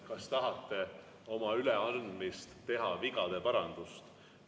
Kas tahate oma üleandmisele teha vigade parandust?